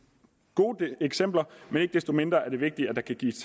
gode eksempler men ikke desto mindre er det vigtigt at der kan gives